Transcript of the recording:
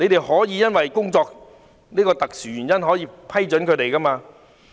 可以因為這個工作的特殊原因，批准他們這樣做。